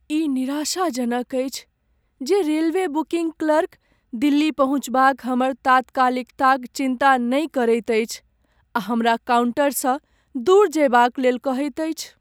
ई निराशाजनक अछि जे रेलवे बुकिङ्ग क्लर्क दिल्ली पहुँचबाक हमर तात्कालिकताक चिन्ता नहि करैत अछि आ हमरा काउन्टरसँ दूर जयबाक लेल कहैत अछि।